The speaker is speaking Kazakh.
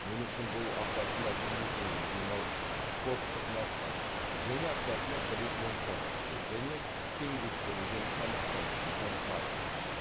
мен үшін бұл аптасына екі күн демалыс спорттық массаж және аптасына бір рет моншаға түсу және теңдестірілген тамақтану дейді марафоншы